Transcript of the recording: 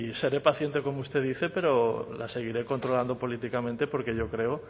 seré paciente como usted dice pero la seguiré controlando políticamente porque yo creo